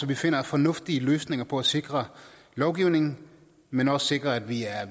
vi finder fornuftige løsninger på at sikre lovgivningen men også sikrer at vi er